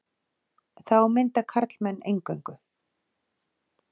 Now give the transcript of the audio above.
Þá mynda karlmenn eingöngu.